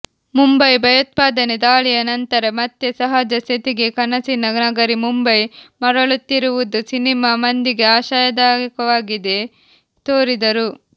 ಮುಂಬೈ ಭಯೋತ್ಪಾದನೆ ದಾಳಿಯ ನಂತರ ಮತ್ತೆ ಸಹಜ ಸ್ಥಿತಿಗೆ ಕನಸಿನ ನಗರಿ ಮುಂಬೈ ಮರಳುತ್ತಿರುವುದು ಸಿನಿಮಾ ಮಂದಿಗೆ ಆಶಾದಾಯಕವಾಗಿದೆ ತೋರಿದರು